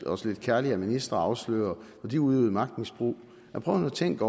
os lidt kærligt af ministre og afsløre når de udøvede magtmisbrug prøv nu at tænke